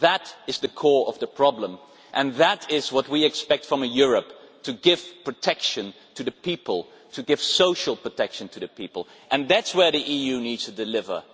That is the core of the problem and that is what we expect from Europe to give protection to the people, to give social protection to the people, and that is where the EU needs to deliver.